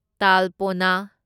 ꯇꯥꯜꯄꯣꯅꯥ